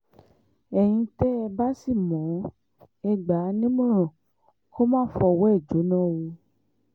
ẹ̀yin tẹ́ ẹ bá sì mọ̀ ọ́n ẹ gbà á nímọ̀ràn kó má fọwọ́ ẹ̀ jóná o